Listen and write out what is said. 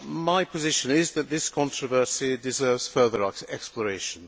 My position is that this controversy deserves further exploration.